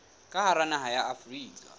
ka hara naha ya afrika